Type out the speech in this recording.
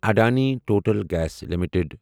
Adani total gas limited